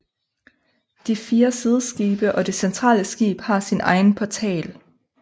De fire sideskibe og det centrale skib har sin egen portal